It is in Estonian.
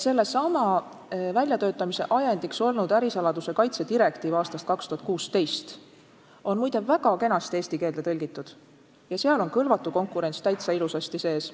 Selle seaduse väljatöötamise ajendiks olnud ärisaladuse kaitse direktiiv aastast 2016 on muide väga kenasti eesti keelde tõlgitud ja seal on "kõlvatu konkurents" ilusasti sees.